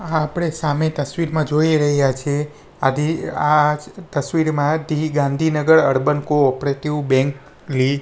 આપડે સામે તસ્વીરમાં જોઈ રહ્યા છે આધી આ તસ્વીરમાં the Gandhinagar urban cooperative bank --